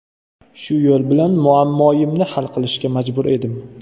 Shu yo‘l bilan muammoyimni hal qilishga majbur edim.